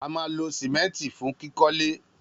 A ma ló simẹnti fún kikọ le.